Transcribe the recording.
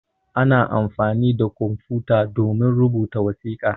Ana amfani da kwamfuta domin rubuta wasiƙa.